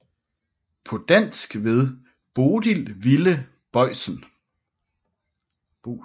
På dansk ved Bodil Wille Boisen